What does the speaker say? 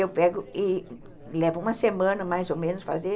Eu pego e leva uma semana mais ou menos fazer.